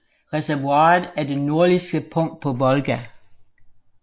Reservoiret er det nordligste punkt på Volga